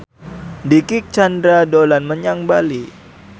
Dicky Chandra dolan menyang Bali